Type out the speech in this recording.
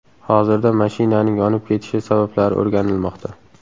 Hozirda mashinaning yonib ketishi sabablari o‘rganilmoqda.